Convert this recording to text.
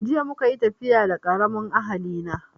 Jiya muka yi tafiya da karamin ahali na